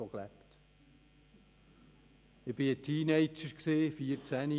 Ich war ein Teenager, 14-jährig.